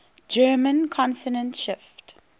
german consonant shift